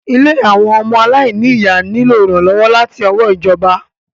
Ilé àwọn ọmọ àláìnì ìyá nílò ìrànlọ́wọ́ láti ọwọ́ ìjọba.